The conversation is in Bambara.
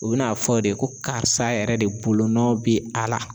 U bi n'a fɔ de ko karisa yɛrɛ de bolonɔ be a la.